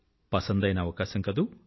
మజా అయిన అవకాశం కదూ